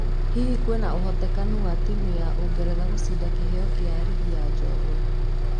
Hihi kwĩna ũhotekano wa timũ ya Ũngeretha gũcinda kĩheo kĩa rigi ya njorua